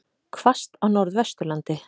Hvasst á Norðvesturlandi